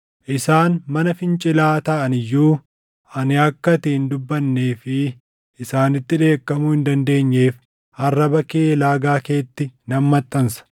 Isaan mana fincilaa taʼan iyyuu, ani akka ati hin dubbannee fi isaanitti dheekkamuu hin dandeenyeef arraba kee laagaa keetti nan maxxansa.